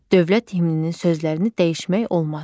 Dövlət himninin sözlərini dəyişmək olmaz.